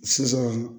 Sisan